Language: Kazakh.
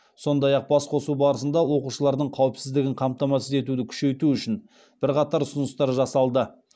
сондай ақ басқосу барысында оқушылардың қауіпсіздігін қамтамасыз етуді күшейту үшін бірқатар ұсыныстар жасалды